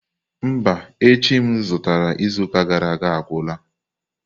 Mba, echi m zụtara izuụka gara aga agwụla.